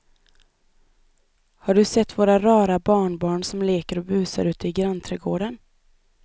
Har du sett våra rara barnbarn som leker och busar ute i grannträdgården!